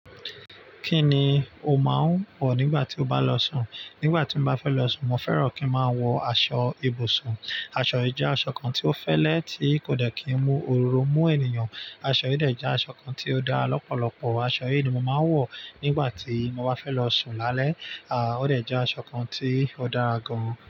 Kí ni o máa ń wọ̀ nígbà tí o bá lọ sùn? Nígbà tí mo bá fẹ́ lọ sùn, mo fẹ́ràn kí n máa wọ aṣọ ibùsùn. Aṣọ yìí jẹ́ aṣọ kan tí ó fẹ́lẹ́, tí kò dẹ̀ kí mú òru mú ènìyàn. Aṣọ yìí dẹ̀ jẹ́ aṣọ kan tí ó dá lọ́pọ̀lọpọ̀. Aṣọ yìí ni mo màá ń wọ̀ nígbà tí mo bá fẹ́ lọ sùn lálẹ́. À, ó dẹ̀ jẹ́ aṣọ kan tí ó dára gan.